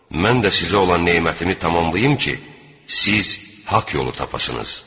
Mən də sizə olan nemətimi tamamlayım ki, siz haqq yolu tapasınız.